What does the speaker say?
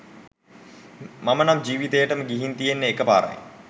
මම නම් ජීවිතේටම ගිහින් තියෙන්නෙ එක පාරයි.